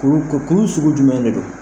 Kuru ko kuru sugu jumɛn de don.